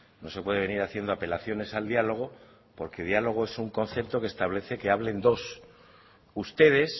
no se puede venir haciendo apelaciones al diálogo porque diálogo es un concepto que establece que hablen dos ustedes